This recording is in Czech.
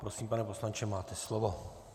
Prosím, pane poslanče, máte slovo.